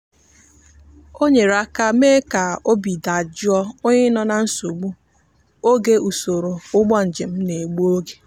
o nyere aka mee ka obi dajụọ onye nọ na nsogbu oge usoro ụgbọ njem na-egbu oge.